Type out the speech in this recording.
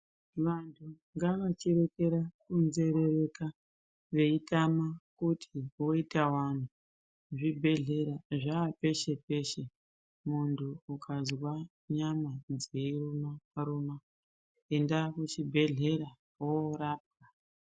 Vantu ngavachireka ku nzerereka veyi tama kuti voita wani zvi bhedhlera zva peshe muntu ukazwa nyama dzei ruma ruma enda ku chibhedhleya worapwa.